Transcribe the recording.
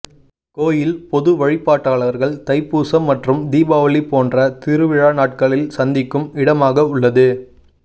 கோயில் பொது வழிபாட்டாளர்கள் தைப்பூசம் மற்றும் தீபாவளி போன்ற திருவிழா நாட்களில் சந்திக்கும் இடமாக உள்ளது